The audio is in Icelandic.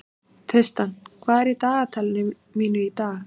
Tristan, hvað er í dagatalinu mínu í dag?